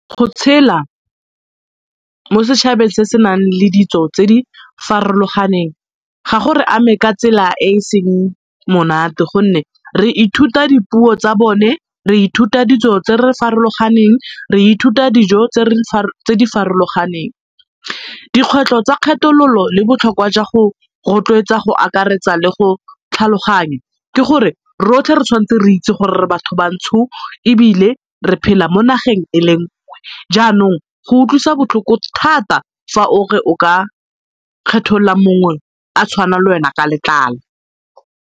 Go tshela mo setšhabeng se se nang le ditso tse di farologaneng ga go re ame ka tsela e e seng monate gonne re ithuta dipuo tsa bone, re ithuta ditso tse di farologaneng, re ithuta dijo tse di farologaneng. Dikgwetlho tsa kgethololo le botlhokwa jwa go rotloetsa go akaretsa le go tlhaloganya ke gore rotlhe re tshwanetse re itse gore re batho bantsho ebile re phela mo nageng e le nngwe jaanong go utlwisa botlhoko thata fa o re o ka kgethoola mongwe a tshwana le wena ka letlalo.